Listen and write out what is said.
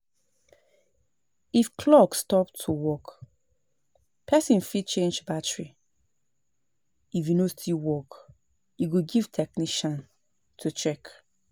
If clock stop to work person fit change battary, if e no still work e go give technician to check